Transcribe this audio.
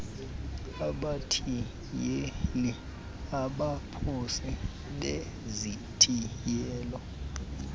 abathiyeli abaphosi bezithiyelo